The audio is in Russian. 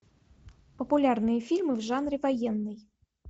популярные фильмы в жанре военный